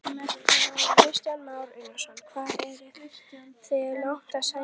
Kristján Már Unnarsson: Hvað eruð þið langt að sækja þetta?